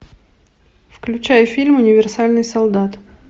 включай фильм универсальный солдат